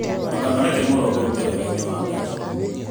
Ndũkareke Mũndũ akũrute wegainĩ wa Ngai